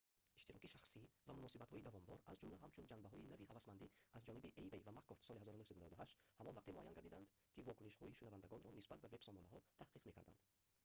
иштироки шахсӣ» ва «муносибатҳои давомдор» аз ҷумла ҳамчун ҷанбаҳои нави ҳавасмандӣ аз ҷониби эймей ва маккорд соли 1998 ҳамон вақте муайян гардидаанд ки вокунишҳои шунавандагонро нисбат ба вебсомонаҳо таҳқиқ мекарданд